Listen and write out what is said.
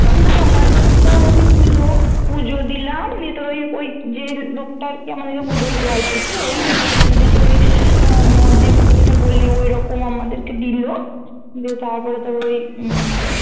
যদি পুজো পুজো দিলাম নিয়ে তোর ওই ওই যে লোকটা আর কি আমাদেরকে পুজো দেওয়াল আর কি ও ই নিয়ে গিয়েছিলো দিতে ওই আহ মদ দিয়ে পুজো যেটা বললি ঐরকম আমাদেরকে দিলো দিয়ে রাতপরে তোর ওই উম